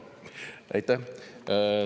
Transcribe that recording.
Aitäh!